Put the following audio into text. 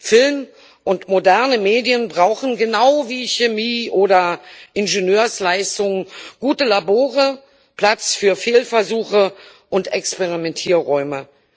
Film und moderne Medien brauchen genau wie Chemie oder Ingenieursleistungen gute Labore, Platz für Fehlversuche und Experimentierräume.